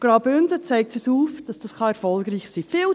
Graubünden zeigt uns auf, dass das erfolgreich sein kann.